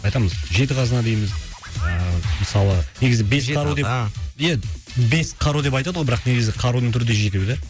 айтамыз жеті қазына дейміз а мысалы негізі бес қару деп ия бес қару деп айтады ғой бірақ негізі қарудың түрі де жетеу да